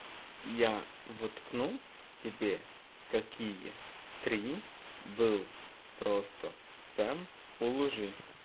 я воткну тебе какие три был просто сам у лжи